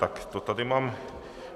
Tak to tady mám.